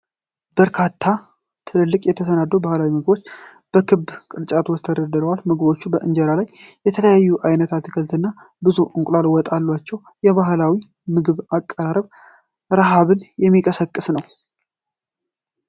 በርካታ ትልልቅ የተሰናዱ ባህላዊ ምግቦች በክብ ቅርጫቶች ውስጥ ተደርድረዋል። ምግቦቹ በእንጀራ ላይ የተለያየ አይነት አትክልቶች እና ብዙ የእንቁላል ወጥ አላቸው። የባህላዊው ምግብ አቀራረብ ርሀብን የሚቀሰቅስ ነው።